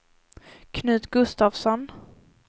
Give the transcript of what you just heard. Knut Gustafsson